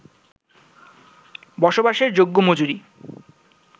বসবাসের যোগ্য মজুরি